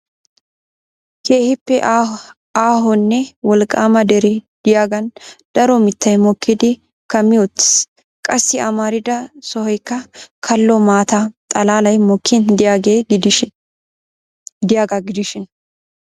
Keehippe aahonne wolqqaama dere de'iyaagan daro mittay mokkidi kammi wottiis. Qassi amarida sohoykka kalo maata xalaalay mokkin de'iyaaga gidishin .